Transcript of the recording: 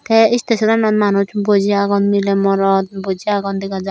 te istesonanot manuj boji agon mile morot boji agon dega jar.